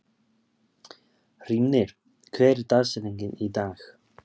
Hrímnir, hver er dagsetningin í dag?